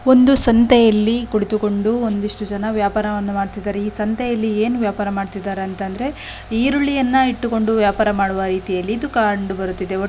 ಒಂದು ಸಂತೆಯಲ್ಲಿ ಕುಳಿತುಕೊಂಡು ಒಂದಿಷ್ಟು ಜನ ವ್ಯಾಪಾರವನ್ನು ಮಾಡುತ್ತಿದ್ದಾರೆ ಈ ಸಂತೆಯಲ್ಲಿ ಏನು ವ್ಯಾಪಾರ ಮಾಡುತ್ತಿದ್ದಾರೆ ಅಂತ ಅಂದ್ರೆ ಈರುಳ್ಳಿಯನ್ನು ಇಟ್ಟುಕ್ಕೊಂಡು ವ್ಯಾಪಾರವನ್ನು ಮಾಡುವ ರೀತಿಯಲ್ಲಿ ಇದು ಕಂಡುಬರುತ್ತಿದೆ.